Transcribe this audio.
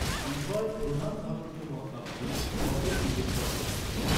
উভয় প্রধান ভারতীয় মহাকাব্যেই ছটের উল্লেখ করা হয়েছে।